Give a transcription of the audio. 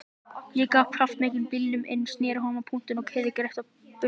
Ég gaf kraftmiklum bílnum inn, sneri honum á punktinum og keyrði greitt burt af Grandanum.